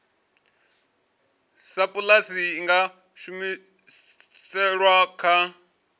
sapulasi i nga humiselwa kha